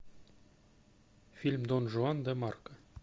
фильм дон жуан де марко